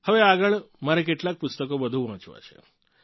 હવે આગળ મારે કેટલાંક પુસ્તકો વધુ વાંચવા છે